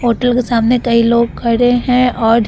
hotel के सामने कई लोग खड़े है और --